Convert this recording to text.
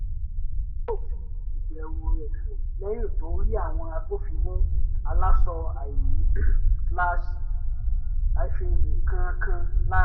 gbò fi ìbẹ̀rù rẹ̀ hàn lẹ́yìn tó rí àwọn agbófinró aláṣọ àìní slash hyphen nǹkankan la